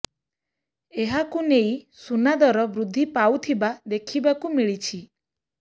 ଏହାକୁ ନେଇ ସୁନା ଦର ବୃଦ୍ଧି ପାଉଥିବା ଦେଖିବାକୁ ମିଳିଛି